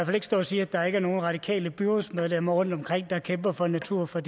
fald ikke stå og sige at der ikke er nogen radikale byrådsmedlemmer rundtomkring der kæmper for natur for